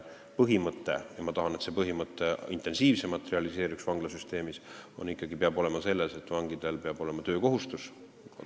Põhimõte – ma tahan, et see põhimõte vanglasüsteemis intensiivsemalt realiseeruks – peab olema see, et vangidel peab olema töökohustus.